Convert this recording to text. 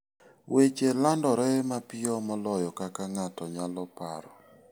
Weche landore mapiyo moloyo kaka ng'ato nyalo paro.